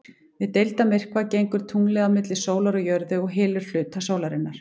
Við deildarmyrkva gengur tunglið á milli sólar og jörðu og hylur hluta sólarinnar.